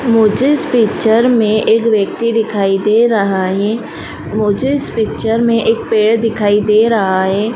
मुझे इस पिक्चर में एक व्यक्ति दिखाई दे रहा हैं मुझे इस पिक्चर में एक पेड़ दिखाई दे रहा हैं।